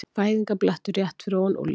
Fæðingarblettur rétt fyrir ofan úlnliðinn.